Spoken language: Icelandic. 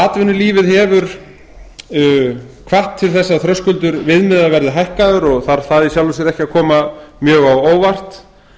atvinnulífið hefur hvatt til þess að þröskuldur viðmiða verði hækkaður og þarf það í sjálfu sér ekki að koma mjög á óvart